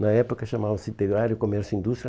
Na época chamava-se Integrário Comércio e Indústria.